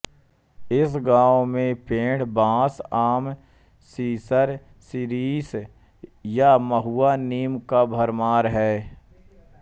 इस गांव में पेड़ बांस आम सिसम सिरिस या महुआ नीम का भरमार है